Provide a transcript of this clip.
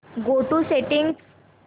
go to settings